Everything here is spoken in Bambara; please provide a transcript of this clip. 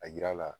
A yira la